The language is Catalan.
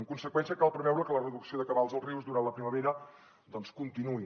en conseqüència cal preveure que la reducció de cabals als rius durant la primavera doncs continuï